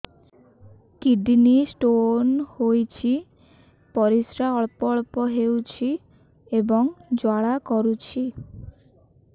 kidney stone ହୋଇଛି ପରିସ୍ରା ଅଳ୍ପ ଅଳ୍ପ ହେଉଛି ଏବଂ ଜ୍ୱାଳା କରୁଛି